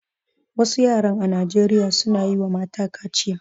Wasu yaran a Nijeriya suna yiwa mata kaciya